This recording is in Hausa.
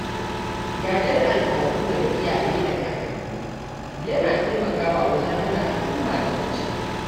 Gadar al’adu daga iyaye da kankanni yana taimakawa wajen hana al’umma ta ɓace